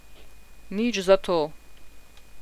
Nič zato.